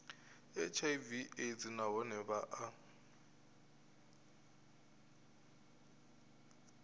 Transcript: hiv aids nahone vha a